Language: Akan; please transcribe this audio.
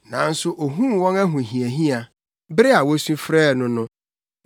Nanso ohuu wɔn ahohiahia bere a wosu frɛɛ no no.